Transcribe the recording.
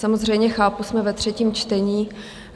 Samozřejmě chápu, jsme ve třetím čtení.